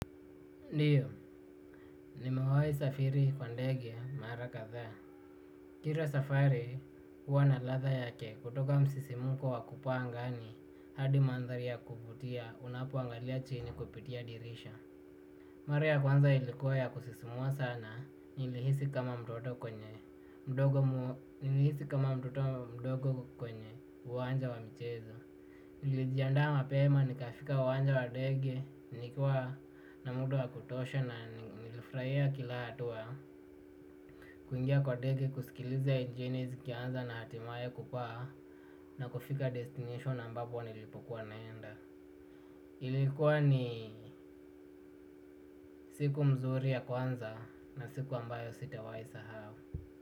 Ndiyo, nimewai safiri kwa ndege, marakathaa. Kira safari, huwa na ladha yake. Kutoka msisimuko wa kupaa angani, hadi manthari ya kuvutia, unapoangalia chini kupitia dirisha. Mara ya kwanza ilikuwa ya kusisimua sana, nilihisi kama mtoto mdogo kwenye, uwanja wa michezo. Nlijiandaa mapema, ni kafika uwanja wa dege, nikua na muda wa kutosha na nilifuraia kila hatua. Kuingia kwa ndege kusikiliza injini zikianza na hatimaya kupaa na kufika destination ambapo nilipokuwa naenda ilikuwa ni, siku mzuri ya kwanza na siku ambayo sitawahi sa hao.